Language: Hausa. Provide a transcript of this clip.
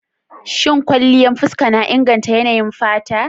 Shin kwanliyan fuska na inganta yanayin fata?